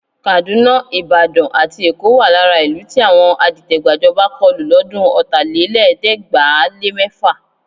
Kàdúná, Ìbàdàn àti Èkó wà lára ìlú tí àwọn adìtẹ̀-gbàjọba kọlù lọ́dún Ọ̀tálélẹ̀ẹ́dẹ́gbàá-lé-mẹ́fà.